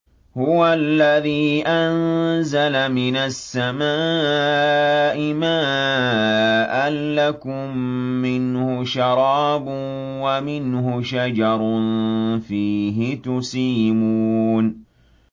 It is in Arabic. هُوَ الَّذِي أَنزَلَ مِنَ السَّمَاءِ مَاءً ۖ لَّكُم مِّنْهُ شَرَابٌ وَمِنْهُ شَجَرٌ فِيهِ تُسِيمُونَ